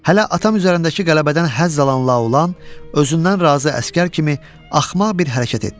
Hələ atam üzərindəki qələbədən həzz alan Laolan, özündən razı əsgər kimi axmaq bir hərəkət etdi.